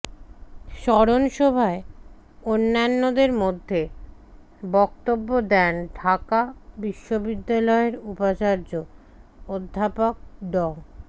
স্মরণসভায় অন্যান্যের মধ্যে বক্তব্য দেন ঢাকা বিশ্ববিদ্যালয়ের উপাচার্য অধ্যাপক ড